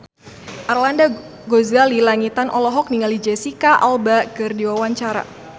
Arlanda Ghazali Langitan olohok ningali Jesicca Alba keur diwawancara